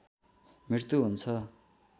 मृत्यु हुन्छ